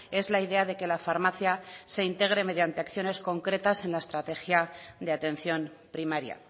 es la idea de que la farmacia se integre mediante acciones concretas en la estrategia de atención primaria